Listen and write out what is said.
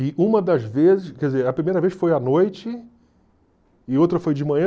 E uma das vezes, quer dizer, a primeira vez foi à noite e outra foi de manhã.